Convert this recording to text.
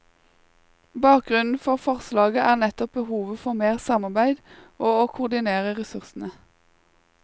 Bakgrunnen for forslaget er nettopp behovet for mer samarbeid og å koordinere ressursene.